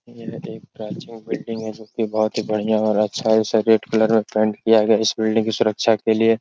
यह एक प्राचीन बिल्डिंग > है जोकि बोहोत ही बढ़ियां और अच्छा इसे रेड क्लर में पेंट किया गया। इस बिल्डिंग की सुरक्षा के लिये --